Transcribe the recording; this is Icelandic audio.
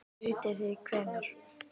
Vitið þið hvenær?